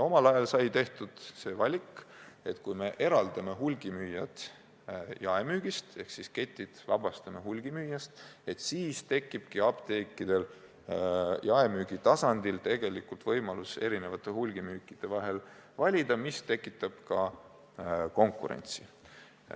Omal ajal sai tehtud see valik, et kui me eraldame hulgimüüjad jaemüügist ehk siis vabastame ketid hulgimüüjast, siis tekibki apteekidel jaemüügi tasandil võimalus erinevate hulgimüüjate vahel valida, mis tekitab ka konkurentsi.